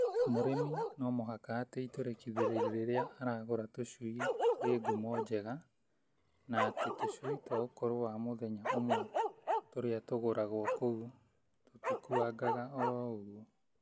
Mũrĩmi no mũhaka atĩ itũrĩkithĩrio rĩrĩa aragũra tũcui rĩ ngumo njega na atĩ tũcui twa ũkũru wa mũthenya ũmwe tũrĩa tũgũragwo kũu tũtikuangaga oro ũguo.